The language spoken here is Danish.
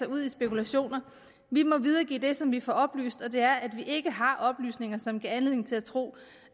ud i spekulationer vi må videregive det som vi får oplyst og det er at vi ikke har oplysninger som giver anledning til at tro